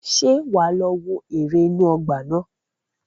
Ṣé wà á lọ wo ère inú ọgbà náà?